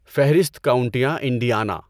فہرست کاؤنٹیاں انڈیانا